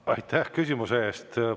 Aitäh küsimuse eest!